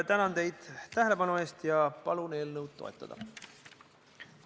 Tänan teid tähelepanu eest ja palun eelnõu toetada!